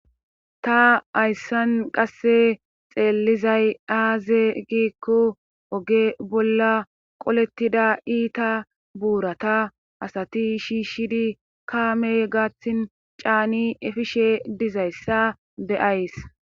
Ta ayssan qasse xeellizay aaze giikko oge bolla qolettida iita buurata asati shiishidi kaame gaathtin caani efishe dizayssa beyays